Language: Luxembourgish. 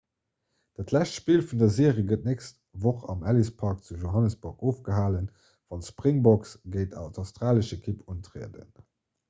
dat lescht spill vun der serie gëtt d'nächst woch am ellis park zu johannesburg ofgehalen wann d'springboks géint d'australesch ekipp untrieden